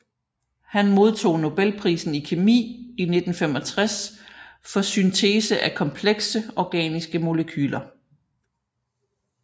Han modtog nobelprisen i kemi i 1965 for syntese af komplekse organiske molekyler